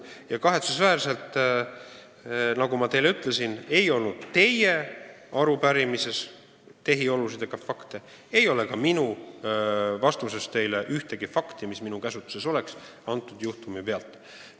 Kahetsusväärselt, nagu ma ütlesin, ei olnud teie arupärimises kirjas tehiolusid ega fakte ja ei ole ka minu vastuses ühtegi fakti, mis minu käsutuses kõnealuse juhtumi korral võiks olla.